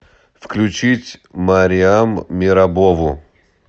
включить мариам мерабову